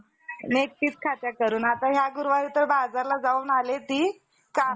कच्चाने क्षेत्रातुन पिटाळून लावले. छत्रीय कोणी कसे कोणीकडे गेले समुद्रावरून दुजी इराणी अथवा,